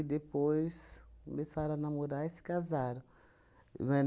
depois começaram a namorar e se casaram, não é?